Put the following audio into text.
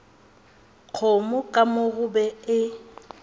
kgomo ka mo gobe e